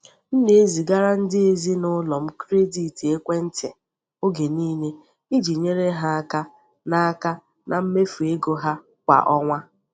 M na-ezigara ndị ezinụlọ m kredit ekwentị oge niile iji nyere ha aka na aka na mmefu ego ha kwa ọnwa.